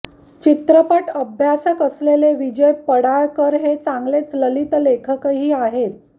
चित्रपट अभ्यासक असलेले विजय पाडळकर हे चांगले ललित लेखकही आहेत